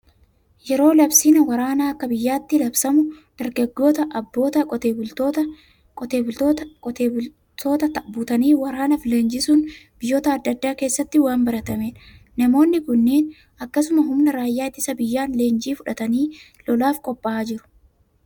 Yeroo labsiin waraanaa akka biyyaatti labsamu, dargaggoota, abboota, qotee bultoota butanii waraanaaf leenjisuun biyyoota adda addaa keessatti waan baratamedha. Namoonni kunneen akkasuma humna raayyaa ittisa biyyaan leenjii fudhatanii lolaaf qophaa'aa jiru.